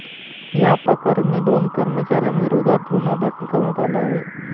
याप्रकरणी दोन कर्मचाऱ्यांविरोधात गुन्हा दाखल करण्यात आला आहे.